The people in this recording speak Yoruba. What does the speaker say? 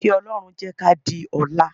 Kí Ọlọ́run jẹ́ ká di ọ̀la